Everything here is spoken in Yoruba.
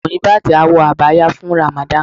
Muyibat á wọ Abaya fun Ramadan.